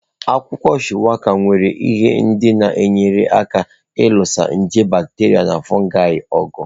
Akwụkwọ Shuwaka nwere ihe ndị na-enyere aka ịlụso nje bakterịa na fụụgai ọgụ.